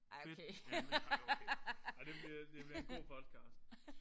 Fedt emne. Ej okay. Ej det bliver det bliver en god podcast